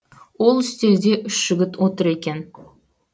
ол үстелде үш жігіт отыр екен